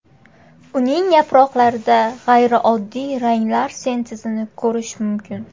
Uning yaproqlarida g‘ayrioddiy ranglar sintezini ko‘rish mumkin.